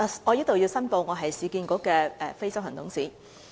我在此申報，我是市建局的非執行董事。